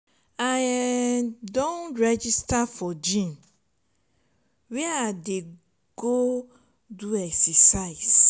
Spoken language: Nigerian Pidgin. i um don register for gym where i go dey go do exercise.